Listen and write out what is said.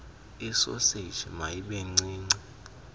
isoseji mayibe ncinci